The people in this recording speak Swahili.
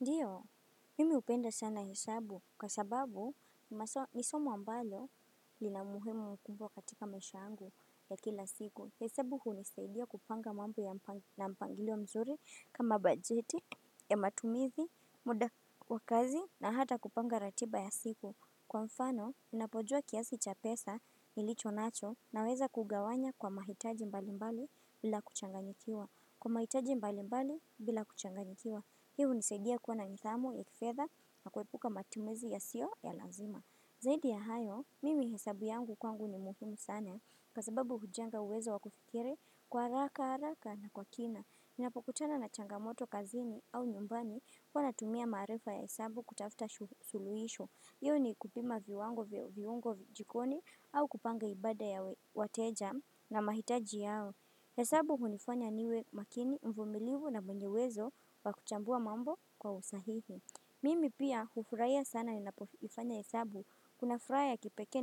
Ndiyo, mimi hupenda sana hesabu, kwa sababu nisomo ambalo lina umuhimu mkubwa katika maisha yangu ya kila siku. Hesabu hunisaidia kupanga mambo na mpangilio mzuri kama bajeti ya matumizi, muda wa kazi na hata kupanga ratiba ya siku. Kwa mfano, ninapojua kiasi cha pesa nilicho nacho naweza kugawanya kwa mahitaji mbali mbali bila kuchanganyikiwa. Kwa mahitaji mbali mbali bila kuchanganyikiwa. Hii hunisadia kuwa na nithamu ya kifedha na kuepuka matumizi yasiyo ya lazima. Zaidi ya hayo, mimi hesabu yangu kwangu ni muhumu sana, kwa sababu hujenga uwezo wa kufikiri kwa haraka haraka na kwa kina. Ninapokutana na changamoto kazini au nyumbani huwa natumia maarifa ya hesabu kutafuta suluhisho. Iwe ni kupima viwango vya viungo jikoni au kupanga ibada ya wateja na mahitaji yao. Hesabu hunifanya niwe makini, mvumilivu na mwenye uwezo wa kuchambua mambo kwa usahihi. Mimi pia hufurahiya sana ninapofanya hesabu. Kuna furaha kipekee